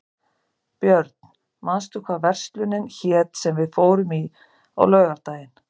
Björn, manstu hvað verslunin hét sem við fórum í á laugardaginn?